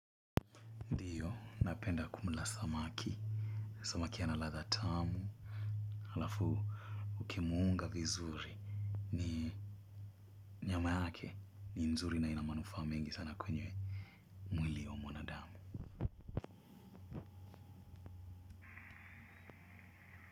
Ndio napenda kumla samaki, samaki ana ladha tamu, halafu ukimuunga vizuri. Ni nyama yake, ni nzuri na ina manufaa mingi sana kwenye mwili wa mwanadamu.